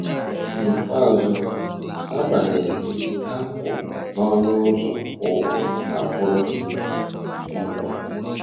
N’ikpeazụ, agbanyeghị, ha kwụ n’ọnụ ụzọ Ụwa a Kwụrụ Nkwa.